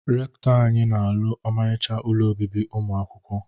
Rekụtọ anyị na alụ ọmarịcha ụlọ obibi ụmụ akwụkwọ.